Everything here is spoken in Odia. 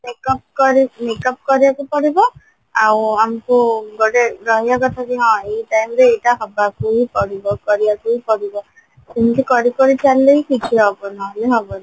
makeup କରି makeup କରିବାକୁ ପଡିବ ଆଉ ଆମକୁ ଗୋଟେ ରହିବା କଥା ଯେ ହଁ ଏଇ time ରେ ଏଇଟା ହବାକୁ ହିଁ ପଡିବ କରିବା ପାଇଁ ପଡିବ ଏମିତି କରି କରି ଚାଲିଲେ ହିଁ କିଛି ହବ ନହେଲେ ହବନି